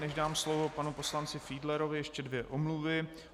Než dám slovo panu poslanci Fiedlerovi, ještě dvě omluvy.